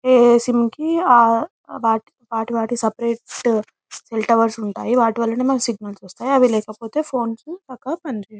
ఏ SIM కి వాటి వాటి సెల్ టవర్స్ ఉంటాయి వాటి వల్లనే మనకు సిగ్నల్స్ వస్తాయి అవి లేకపోతే మన ఫోన్స్ సరిగ్గా పని చేయవు.